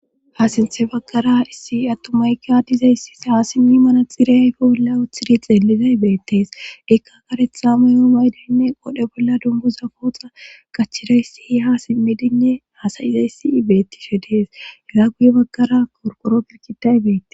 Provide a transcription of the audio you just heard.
Ha sinthe baggara issi attomaykadizayssi haasimmi mana xira ayfe bolla wooththidi xeellizay beettees ekka karetha mayoo maydinne qodhe bolla dunguza kooxa kachirayssi i ha simmidinne hasayizayssi ibettishe dees hega guye baggara korkoro pirkitay beette.